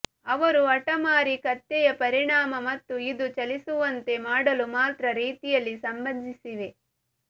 ಅವರು ಹಠಮಾರಿ ಕತ್ತೆಯ ಪರಿಣಾಮ ಮತ್ತು ಇದು ಚಲಿಸುವಂತೆ ಮಾಡಲು ಮಾತ್ರ ರೀತಿಯಲ್ಲಿ ಸಂಬಂಧಿಸಿವೆ